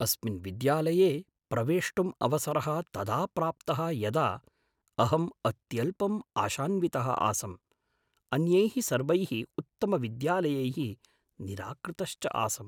अस्मिन् विद्यालये प्रवेष्टुम् अवसरः तदा प्राप्तः यदा अहम् अत्यल्पम् आशान्वितः आसम्, अन्यैः सर्वैः उत्तमविद्यालयैः निराकृतश्च आसम्।